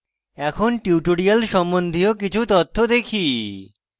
এখন tutorial সম্বন্ধীয় কিছু তথ্য দেখি